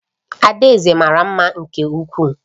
Adaeze mara mma nke ukwuu